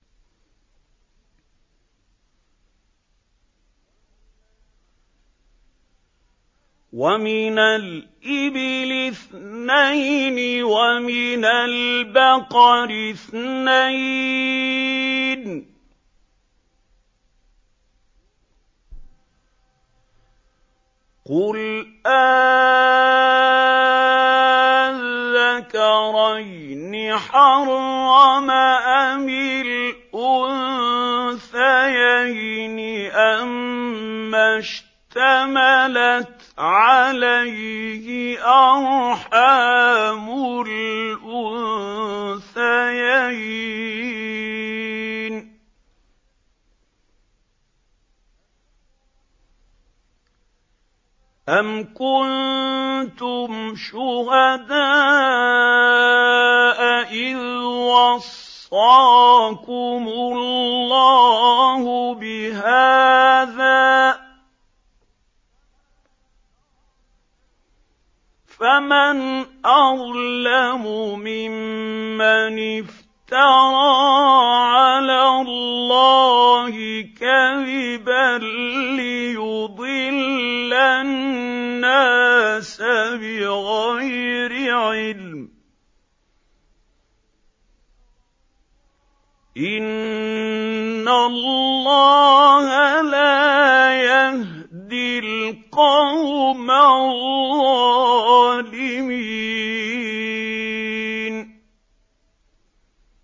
وَمِنَ الْإِبِلِ اثْنَيْنِ وَمِنَ الْبَقَرِ اثْنَيْنِ ۗ قُلْ آلذَّكَرَيْنِ حَرَّمَ أَمِ الْأُنثَيَيْنِ أَمَّا اشْتَمَلَتْ عَلَيْهِ أَرْحَامُ الْأُنثَيَيْنِ ۖ أَمْ كُنتُمْ شُهَدَاءَ إِذْ وَصَّاكُمُ اللَّهُ بِهَٰذَا ۚ فَمَنْ أَظْلَمُ مِمَّنِ افْتَرَىٰ عَلَى اللَّهِ كَذِبًا لِّيُضِلَّ النَّاسَ بِغَيْرِ عِلْمٍ ۗ إِنَّ اللَّهَ لَا يَهْدِي الْقَوْمَ الظَّالِمِينَ